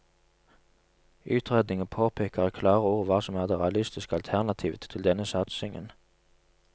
Utredningen påpeker i klare ord hva som er det realistiske alternativet til denne satsingen.